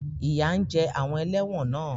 Ìyà ń jẹ àwọn ẹlẹ́wọ̀n náà.